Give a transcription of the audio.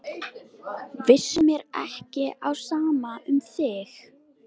Vissulega stóð mér ekki á sama um þig.